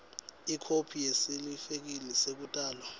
ikhophi yesitifiketi sekutalwa